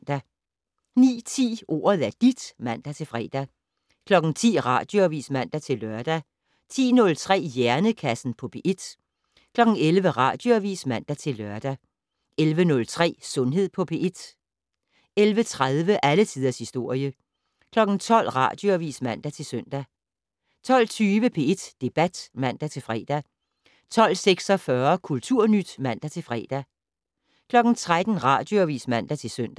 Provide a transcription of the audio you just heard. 09:10: Ordet er dit (man-fre) 10:00: Radioavis (man-lør) 10:03: Hjernekassen på P1 11:00: Radioavis (man-lør) 11:03: Sundhed på P1 11:30: Alle tiders historie 12:00: Radioavis (man-søn) 12:20: P1 Debat (man-fre) 12:46: Kulturnyt (man-fre) 13:00: Radioavis (man-søn)